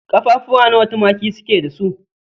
Ƙaffafuwa nawa tumaki su ke da su?